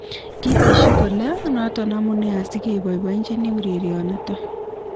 Kitesyi kole noto amunee asi keboibochini urerionito